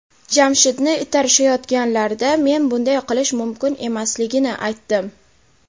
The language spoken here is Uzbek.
Jamshidni itarishayotganlarida men bunday qilish mumkin emasligini aytdim.